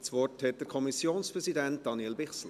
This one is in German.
Das Wort hat der Kommissionspräsident, Daniel Bichsel.